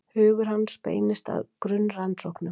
Hugur hans beindist frekar að grunnrannsóknum.